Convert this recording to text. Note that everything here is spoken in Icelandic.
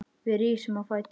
Við rísum á fætur.